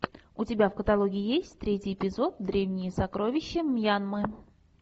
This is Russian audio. у тебя в каталоге есть третий эпизод древние сокровища мьянмы